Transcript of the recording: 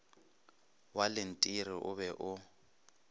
wa lentiri o be o